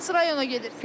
Hansı rayona gedirsiz?